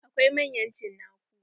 Akwai manyan cinaku.